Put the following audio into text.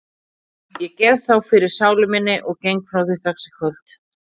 Ég gef þá fyrir sálu minni og geng frá því strax í kvöld.